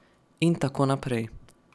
In tako naprej ...